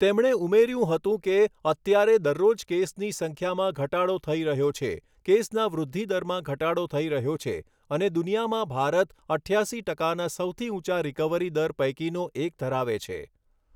તેમણે ઉમેર્યું હતું કે, અત્યારે દરરોજ કેસની સંખ્યામાં ઘટાડો થઈ રહ્યો છે, કેસના વૃદ્ધિદરમાં ઘટાડો થઈ રહ્યો છે અને દુનિયામાં ભારત અઠ્યાસી ટકાના સૌથી ઊંચા રિકવરી દર પૈકીનો એક ધરાવે છે.